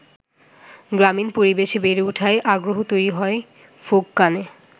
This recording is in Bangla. গ্রামীণ পরিবেশে বেড়ে ওঠায় আগ্রহ তৈরি হয় ফোক গানে।